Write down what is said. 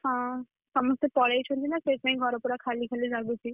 ହଁ, ସମସ୍ତେ ପଳେଇଛନ୍ତି ନା ଘର ପୁର ଖାଲି ଖାଲି ଲାଗୁଛି।